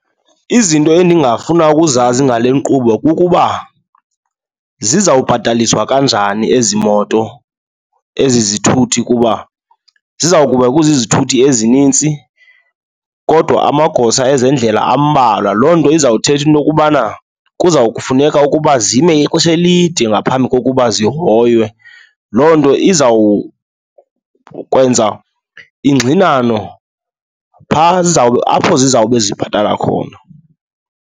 Izinto endingafuna ukuzazi ngale nkqubo kukuba zizawubhataliswa kanjani ezi moto, ezi zithuthi kuba ziza kuba kuzizithuthi ezinintsi kodwa amagosa ezendlela ambalwa. Loo nto uzawuthetha into yokubana kuza kufuneka ukuba zime ixesha elide ngaphambi kokuba zihoywe. Loo nto izawukwenza ingxinano phaa apho zizawube zibhatala khona.